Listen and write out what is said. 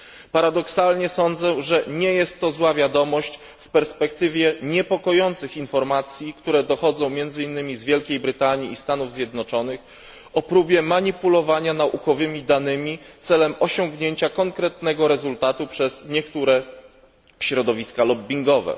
Paradoksalnie sądzę, że nie jest to zła wiadomość w perspektywie niepokojących informacji, które dochodzą, między innymi z Wielkiej Brytanii i Stanów Zjednoczonych, o próbie manipulowania naukowymi danymi celem osiągnięcia konkretnego rezultatu przez niektóre środowiska lobbingowe.